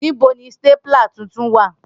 Nibo ni stapler tuntun wa?